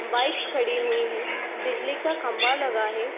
Bikes खड़ी हुई हैं। बिजली का खम्बा लगा है।